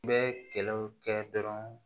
U bɛ kɛlɛw kɛ dɔrɔn